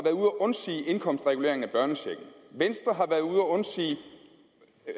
at undsige indkomstreguleringen af børnechecken venstre har været ude at undsige